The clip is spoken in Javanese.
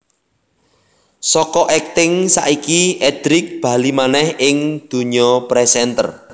Saka akting saiki Edric bali manèh ning dunya presenter